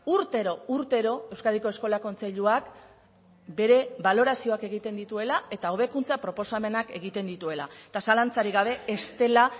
urtero urtero euskadiko eskola kontseiluak bere balorazioak egiten dituela eta hobekuntza proposamenak egiten dituela eta zalantzarik gabe ez dela